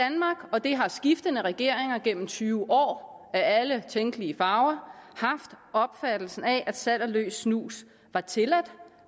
og det har skiftende regeringer gennem tyve år af alle tænkelige farver haft opfattelsen af at salg af løs snus var tilladt